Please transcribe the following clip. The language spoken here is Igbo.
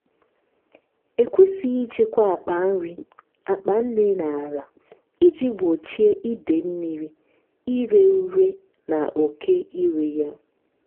ekwesịghị ịchekwa akpa nri akpa nri n’ala iji gbochie ide mmiri ire ure na oke iri ya.